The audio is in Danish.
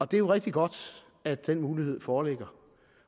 det er rigtig godt at den mulighed foreligger